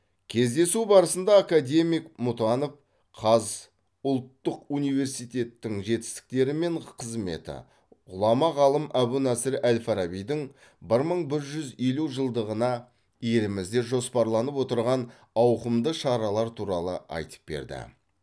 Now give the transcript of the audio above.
кездесу барысында академик мұтанов қаз ұлттық университеттің жетістіктері мен қызметі ғұлама ғалым әбу насыр әл фарабидің бір мың бір жүз елу жылдығына елімізде жоспарланып отырған ауқымды шаралар туралы айтып берді